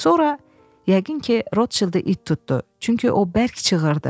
Sonra yəqin ki, Rotşildi it tutdu, çünki o bərk çığırdı.